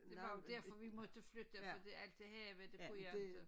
Det var jo derfor vi måtte flytte fordi alt det have det kunne jeg inte